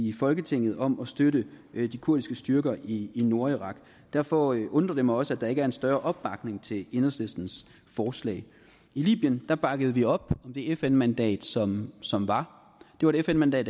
i folketinget om at støtte de kurdiske styrker i nordirak derfor undrer det mig også at der ikke er en større opbakning til enhedslistens forslag i libyen bakkede vi op om det fn mandat som som var det var et fn mandat